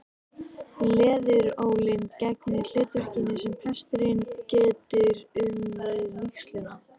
Leðurólin gegnir hlutverkinu sem presturinn getur um við vígsluna.